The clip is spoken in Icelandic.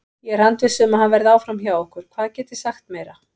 Ég er handviss um að hann verði áfram hjá okkur, hvað get ég sagt meira?